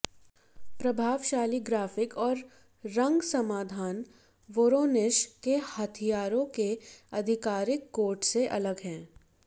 प्रभावशाली ग्राफिक और रंग समाधान वोरोनिश के हथियारों के आधिकारिक कोट से अलग है